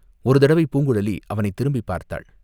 ஒரு தடவை பூங்குழலி அவனைத் திரும்பிப் பார்த்தாள்.